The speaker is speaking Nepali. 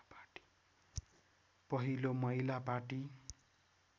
पहिलो महिला पार्टी